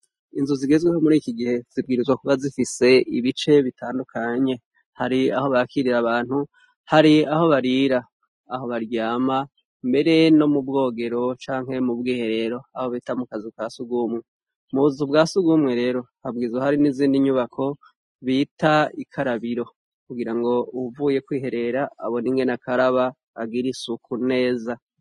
Inzu zigizweho muri kigihe zigomba kuba zifise ibice bitandukanye hari aho bakirira abantu ,hari aho barira, aho baryama, mbere no mubwogero canke mubwiherero aho bita mukazu kasugumwe ,m'ubuzi bwasugumwe lero haba harimwo izindi nyubako bita ikarabiro ngo uvuye kwiherera ngo agira uko akaraba agire isuka neza.